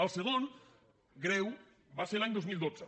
el segon greu va ser l’any dos mil dotze